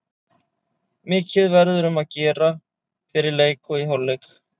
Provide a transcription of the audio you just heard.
Mikið verður um að gera fyrir leik og í hálfleik.